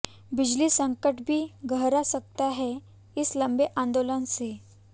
बिजली संकट भी गहरा सकता है इस लंबे आंदोलन से